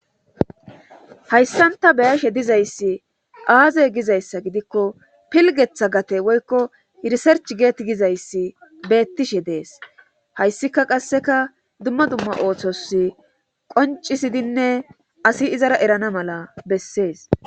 hayssanta beyashe dizayssi aaze gizayssa gidikko pilgetha gate woykko irisarch geeti gizayssi beettishe dees hayssika qasseka dumma dumma ooththos qoncisidinne asi izara erana mala bessees